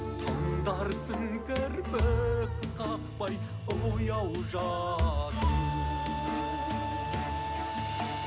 тыңдарсың кірпік қақпай ояу жатып